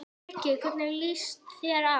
Breki: Hvernig líst þér á?